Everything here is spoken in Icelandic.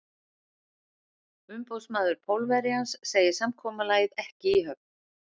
Umboðsmaður Pólverjans segir samkomulag ekki í höfn.